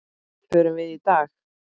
Förum við í dag?